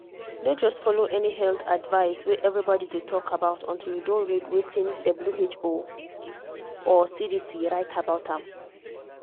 no just follow any health advice wey everybody dey talk about until you don read wetin who or cdc write about am.